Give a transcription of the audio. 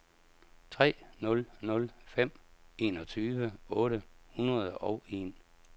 tre nul nul fem enogtyve otte hundrede og en